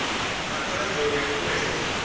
na khonadzeo ya u vhuedza